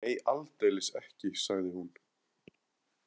Nei, aldeilis ekki, sagði hún.